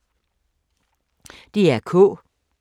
DR K